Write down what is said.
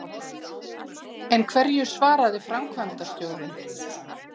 En hverju svaraði framkvæmdastjórinn?